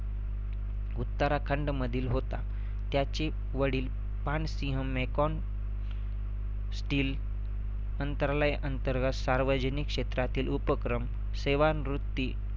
उत्तराखंडमधील होता. त्याचे वडील पानसिंह mecon steel अंतरलय अंतर्गात सार्वजनिक क्षेत्रातील उपक्रम सेवानृत्ती